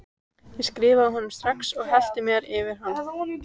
Ég skrifaði honum strax og hellti mér yfir hann.